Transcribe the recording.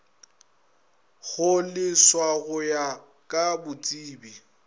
kgoleswa go ya ka botsebi